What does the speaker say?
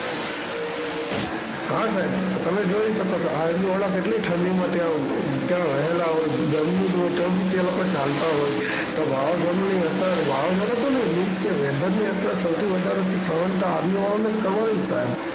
હાં સાહેબ તો તમે જોઈ shako છો Army વાળા કેટલી ઠંડીમાં ત્યાં ઉભ ત્યાં રહેલા હોય છે. ગરમી હોય તો બી તે લોકો ચાલતા હોય છે. તો વવાઝોડુની અસર Weather ની અસર સૌથી વધારે Army વાળાઓને જ થાય.